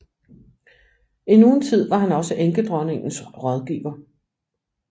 Endnu en tid var han også enkedronningens rådgiver